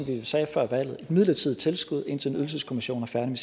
vi sagde før valget et midlertidigt tilskud indtil en ydelseskommission er færdig